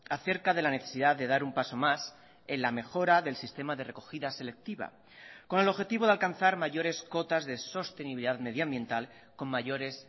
acerca de la necesidad de dar un paso más en la mejora del sistema de recogida selectiva con el objetivo de alcanzar mayores cotas de sostenibilidad medioambiental con mayores